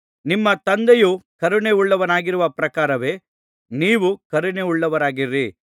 ನಿಮ್ಮ ತಂದೆಯು ಕರುಣೆಯುಳ್ಳವನಾಗಿರುವ ಪ್ರಕಾರವೇ ನೀವೂ ಕರುಣೆಯುಳ್ಳವರಾಗಿರಿ